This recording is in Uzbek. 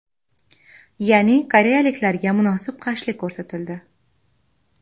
Ya’ni koreyaliklarga munosib qarshilik ko‘rsatildi.